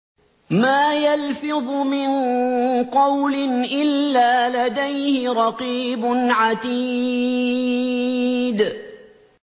مَّا يَلْفِظُ مِن قَوْلٍ إِلَّا لَدَيْهِ رَقِيبٌ عَتِيدٌ